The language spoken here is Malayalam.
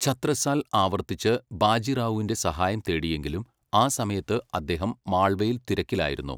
ഛത്രസാൽ ആവർത്തിച്ച് ബാജി റാവുവിൻ്റെ സഹായം തേടിയെങ്കിലും ആ സമയത്ത് അദ്ദേഹം മാൾവയിൽ തിരക്കിലായിരുന്നു.